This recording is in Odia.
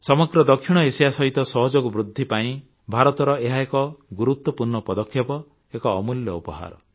ସମଗ୍ର ଦକ୍ଷିଣ ଏସିଆ ସହିତ ସହଯୋଗ ବୃଦ୍ଧି ପାଇଁ ଭାରତର ଏହା ଏକ ଗୁରୁତ୍ୱପୂର୍ଣ୍ଣ ପଦକ୍ଷେପ ଏକ ଅମୂଲ୍ୟ ଉପହାର